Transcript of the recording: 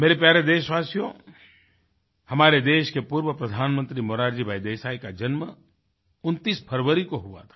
मेरे प्यारे देशवासियो हमारे देश के पूर्व प्रधानमंत्री मोरारजी भाई देसाई का जन्म 29 फरवरी को हुआ था